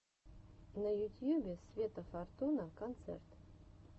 на ютьюбе света фортуна концерт